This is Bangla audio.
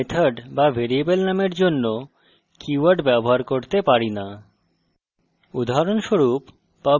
আমরা আমাদের class method বা ভ্যারিয়েবল নামের জন্য keywords ব্যবহার করতে পারি না